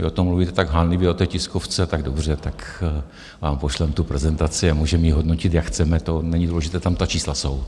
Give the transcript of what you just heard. Vy o tom mluvíte tak hanlivě na té tiskovce, tak dobře, tak vám pošleme tu prezentaci a můžeme ji hodnotit, jak chceme, to není důležité, tam ta čísla jsou.